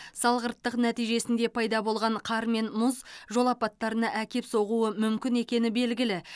салғырттық нәтижесінде пайда болған қар мен мұз жол апаттарына әкеп соғуы мүмкін екені белгілі